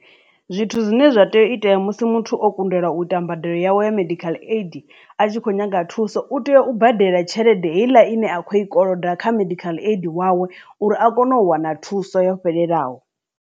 Zwithu zwine zwa tea u itea musi muthu o kundelwa u ita mbadelo yawe ya medical aid a tshi kho nyaga thuso u tea u badela tshelede heiḽa ine a khou i koloda kha medical aid wawe uri a kone u wana thuso yo fhelelaho.